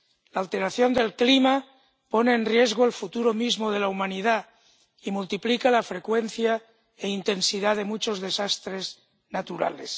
La alteración del clima pone en riesgo el futuro mismo de la humanidad y multiplica la frecuencia e intensidad de muchos desastres naturales.